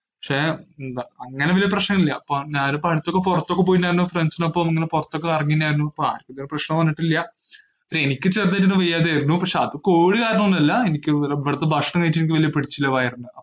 പക്ഷേ വ~ അങ്ങനെ വല്യ പ്രശ്നോയില്ല, ഇപ്പൊ ഞാനിപ്പോ അടുത്തൊക്കെ പൊറത്തൊക്കെപോയിട്ടുണ്ടായിരുന്നു friends ഇനൊപ്പം ഇങ്ങനെ പൊറത്തൊക്കെ എറങ്ങിയിട്ടുണ്ടായിരുന്നു, അപ്പൊ ആർക്കും വേറെ പ്രശ്നം വന്നിട്ടില്ല്യാ. ഇപ്പൊ എനിക്ക് ചെറുതായിട്ട്ന് വയ്യായ്ക ആയിരുന്നു. പക്ഷെ അത് കോവിഡ് കാരണമൊന്നുമല്ലാ. എനിക്ക് ഇതുപോലെ ഇവിടത്തെ ഭക്ഷണം കഴിച്ചിട്ട് എനിക്ക് വലിയ പിടിച്ചില്ല വയറിന്.